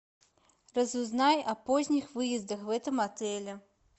разузнай о поздних выездах в этом отеле